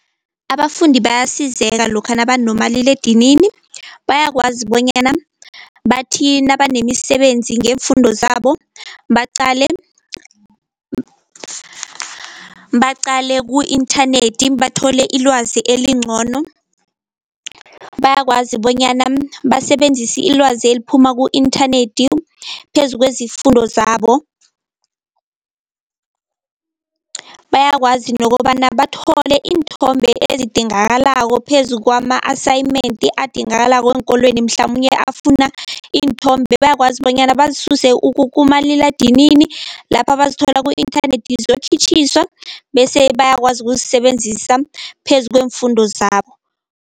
Abafundi bayasizeka lokha nabanomaliledinini, bayakwazi bonyana bathi nabanemisebenzi ngeemfundo zabo baqale, baqale ku-inthanethi bathole ilwazi elincono. Bayakwazi bonyana basebenzise ilwazi eliphuma ku-inthanethi phezu kwezifundo zabo. Bayakwazi nokobana bathole iinthombe ezidingakalako phezu kwama-assignment adingakalako eenkolweni, mhlamunye afuna iinthombe bayakwazi bonyana bazisuse kumaliladinini, lapha bazithola ku-inthanethi bese bayakwazi ukuzisebenzisa phezu kweemfundo zabo.